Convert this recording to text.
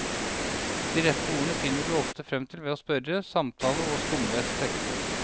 De rette ordene finner du ofte frem til ved å spørre, samtale og skumlese tekster.